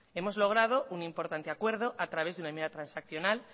hemos logrado un importante acuerdo a través de una enmienda transaccional